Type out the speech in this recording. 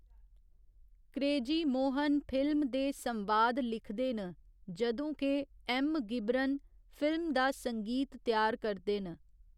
Crazy Mohan film दे संवाद लिखदे न जदूं के एम . घिबरन फिल्म दा संगीत त्यार करदे न।